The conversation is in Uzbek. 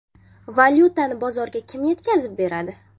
Valyutani bozorga kim yetkazib beradi?